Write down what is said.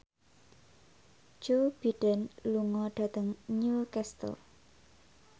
Joe Biden lunga dhateng Newcastle